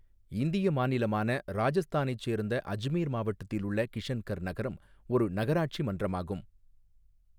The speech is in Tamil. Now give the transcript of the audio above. இந்திய மாநிலமான ராஜஸ்தானைச் சேர்ந்த அஜ்மீர் மாவட்டத்தில் உள்ள கிஷன்கர் நகரம் ஒரு நகராட்சி மன்றமாகும்.